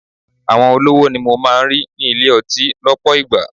Àwọn olówó ni mo máa ń rí ní ilé-ọtí lọpọ ìgbà.